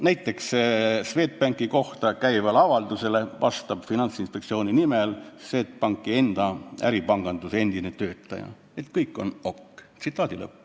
Näiteks vastab Swedbanki kohta käivale avaldusele Finantsinspektsiooni nimel Swedbanki enda äripanganduse endine töötaja, et kõik on OK.